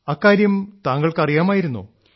അക്കാര്യം താങ്കൾക്ക് അറിയാമായിരുന്നോ